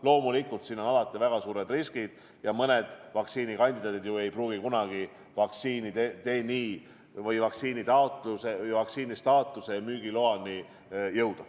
Loomulikult on alati väga suured riskid, sest mõned vaktsiinikandidaadid ei pruugi kunagi vaktsiinistaatuse ja müügiloani jõuda.